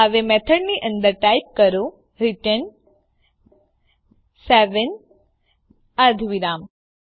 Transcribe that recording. હવે મેથડની અંદર ટાઈપ કરો રિટર્ન સેવેન અર્ધવિરામ